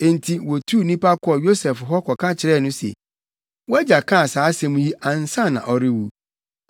Enti wotuu nnipa kɔɔ Yosef hɔ kɔka kyerɛɛ no se, “Wʼagya kaa saa asɛm yi ansa na ɔrewu.